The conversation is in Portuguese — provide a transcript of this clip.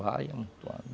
Vai amontoando.